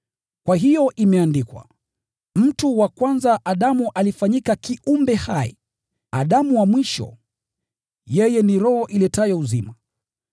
Kwa hiyo imeandikwa, “Mtu wa kwanza Adamu alifanyika kiumbe hai”; Adamu wa mwisho, yeye ni roho iletayo uzima.